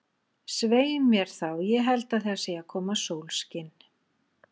Svei mér þá, ég held að það sé að koma sólskin.